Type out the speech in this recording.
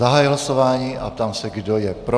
Zahajuji hlasování a ptám se, kdo je pro.